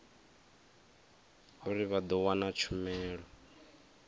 uri vha ḓo wana tshumelo